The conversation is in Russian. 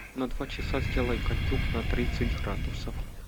на два часа сделай кондюк на тридцать градусов